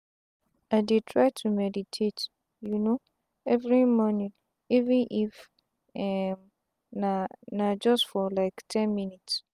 i dey try to meditate um everi mornin even if um na na just for like ten minutes.